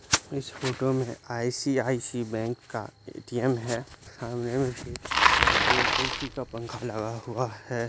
इस फोटो में ICI. Bank का है ए.टी.म. सामने में ए.सी. का पंखा लगा हुआ हैं।